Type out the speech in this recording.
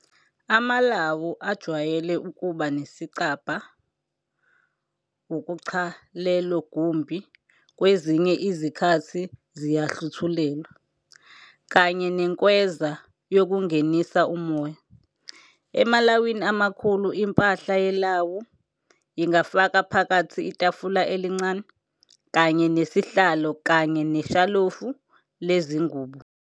Amalwu ajwayele ukuba nesicabha ukucha lelogumbhi, kwezinye izikhathi, ziyahluthulelwa, kanye nenkweza yokungenisa umoya. Emalawini amakhulu, impahla yelawu ingafaka phakathi itafula elincane kanye nesihlalo kanye neshalofu lezingubo.